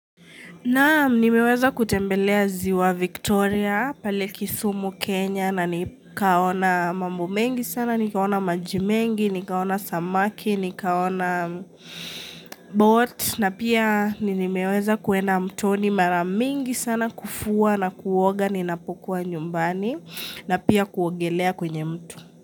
Naam nimeweza kutembelea ziwa Victoria pale kisumu Kenya na nikaona mambu mengi sana, nikaona maji mengi, nikaona samaki, nikaona boat na pia nimeweza kuenda mtoni maramingi sana kufua na kuoga ni napokuwa nyumbani na pia kuongelea kwenye mto.